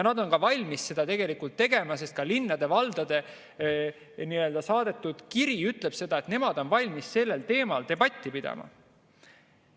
Nad on ka valmis seda tegema, sest ka linnade ja valdade saadetud kiri ütleb, et nemad on valmis sellel teemal debatti pidama.